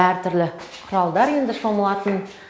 әртүрлі құралдар енді шомылатын